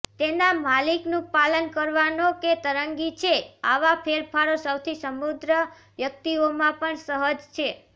તેના માલિકનું પાલન કરવાનો કે તરંગી છે આવા ફેરફારો સૌથી સમૃદ્ધ વ્યક્તિઓમાં પણ સહજ છે